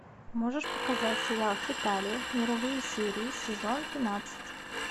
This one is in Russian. можешь показать сериал хеталия мировые серии сезон двенадцать